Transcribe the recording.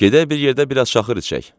Gedək bir yerdə biraz şaxır içək.